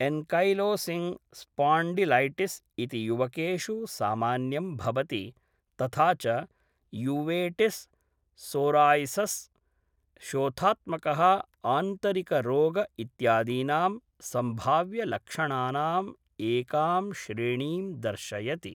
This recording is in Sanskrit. एन्कैलोसिङ्ग् स्पॉन्डिलैटिस् इति युवकेषु सामान्यं भवति तथा च यूवेटिस्, सोराय्सिस्, शोथात्मकः आन्तरिकरोग इत्यादीनां सम्भाव्यलक्षणानाम् एकां श्रेणीं दर्शयति।